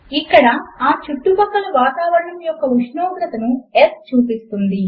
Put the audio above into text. ఇక్కడ ఆ చుట్టుపక్కల వాతావరణము యొక్క ఉష్ణోగ్రతను S చూపిస్తుంది